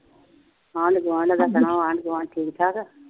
ਆਂਢ ਗੁਆਂਢ ਸੱਦਣਾ, ਆਂਢ ਗੁਆਂਢ ਠੀਕ ਠਾਕ